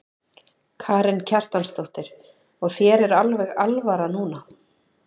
Karen Kjartansdóttir: Og þér er alveg alvara núna?